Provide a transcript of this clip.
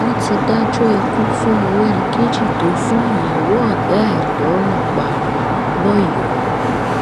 wọn ti dájọ ikú fún morenikeji tó fún ìyàwó ọgá ẹ lọrun pa lọyọọ